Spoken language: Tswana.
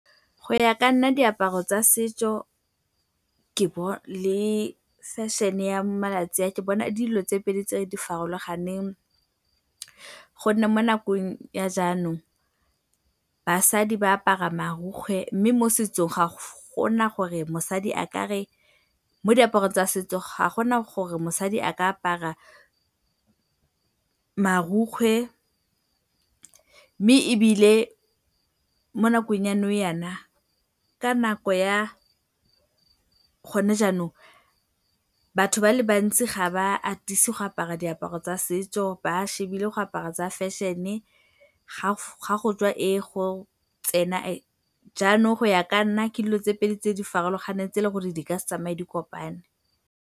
Go ya ka nna, diaparo tsa setso le fashion-e ya malatsi a ke bona dilo tse pedi tse di farologaneng gonne mo nakong ya jaanong basadi ba apara marokgwe mme mo setsong ga go na gore mosadi a ka re, mo diaparong tsa setso ga go na gore mosadi a ka apara marokgwe mme ebile mo nakong ya nou jaana ka nako ya gone jaanong, batho ba le bantsi ga ba atise go apara diaparo tsa setso, ba lebile go apara tsa fashion-e, fa go tswa e, go tsena e. Jaanong go ya ka nna ke dilo tse pedi tse di farologaneng tse eleng gore di ka se tsamaye di kopane.